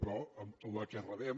però la que rebem